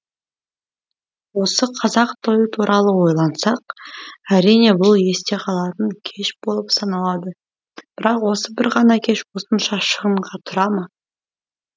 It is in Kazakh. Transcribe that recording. осы қазақ тойы туралы ойлансақ әрине бұл есте қалатын кеш болып саналады бірақ осы бір ғана кеш осынша шығынға тұра ма